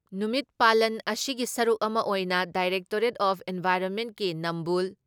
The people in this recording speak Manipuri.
ꯅꯨꯃꯤꯠ ꯄꯥꯥꯂꯟ ꯑꯁꯤꯒꯤ ꯁꯔꯨꯛ ꯑꯃ ꯑꯣꯏꯅ ꯗꯥꯏꯔꯦꯛꯇꯣꯔꯦꯠ ꯑꯣꯐ ꯏꯟꯚꯥꯏꯔꯣꯟꯃꯦꯟꯀꯤ ꯅꯝꯕꯨꯜ